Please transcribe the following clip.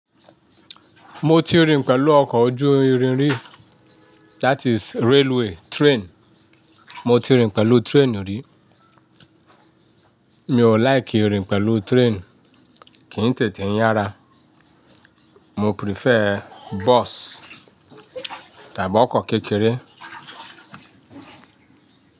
Mo ti rìn pẹ̀lú ọkọ̀ ojú irin rí, that is railway train. Mo ti rìn pẹ̀lú train rí. Mi ò like rìn pẹ̀lú train, kì n tètè yára. Mo prefer bus tàbí ọkọ̀ kékeré.